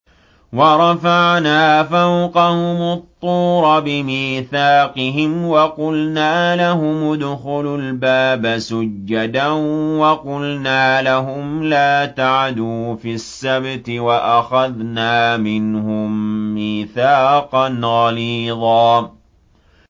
وَرَفَعْنَا فَوْقَهُمُ الطُّورَ بِمِيثَاقِهِمْ وَقُلْنَا لَهُمُ ادْخُلُوا الْبَابَ سُجَّدًا وَقُلْنَا لَهُمْ لَا تَعْدُوا فِي السَّبْتِ وَأَخَذْنَا مِنْهُم مِّيثَاقًا غَلِيظًا